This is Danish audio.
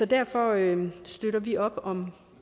derfor støtter vi op om